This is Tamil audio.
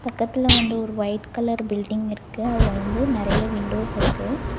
பக்கத்துல வந்து ஒரு ஒய்ட் கலர் பில்டிங் இருக்கு அதுல வந்து நெறைய விண்டோஸ் இருக்கு.